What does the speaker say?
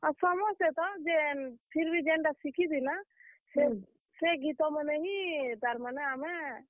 ହଁ, ସମସ୍ତେ ତ ଯେନ୍, ଫିର ଭି ଯେନ୍ ଟା ଶିଖିଥିଲାଁ ସେ, ଗୀତ ମାନେ ବି, ତାର୍ ମାନେ ଆମେ।